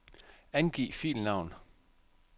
Angiv filnavn.